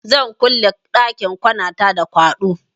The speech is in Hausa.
Zan kulle ɗakin kwanata da kwaɗo.